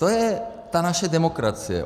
To je ta naše demokracie.